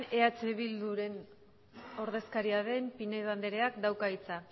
eh bildu taldearen ordezkaria den pinedo andereak dauka hitza